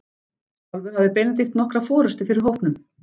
Sjálfur hafði Benedikt nokkra forustu fyrir hópnum.